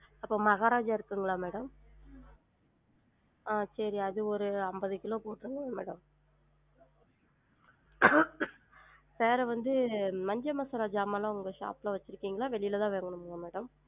அப்ப மகாராஜா இருக்குங்களா madam? ஆஹ் சேரி அது ஒரு அம்பது கிலோ குடுத்துருங்க madam வேற வந்து மஞ்ச மசாலா ஜாமான்லாம் உங்க shop ல வச்சுருக்கிங்களா வெளில தான் madam?